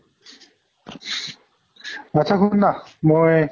আত্ছা শুন না মই